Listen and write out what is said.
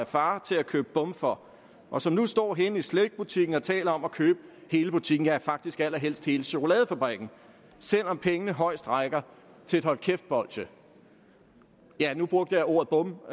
af far til at købe bum for og som nu står henne i slikbutikken og taler om at købe hele butikken ja faktisk allerhelst hele chokoladefabrikken selv om pengene højst rækker til et hold kæft bolsje nu brugte jeg ordet bum